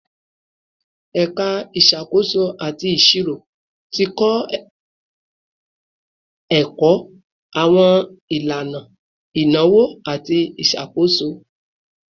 Ẹka Isakoso ati Iṣiro ti kọ ẹkọ awọn ilana inawo ati iṣakoso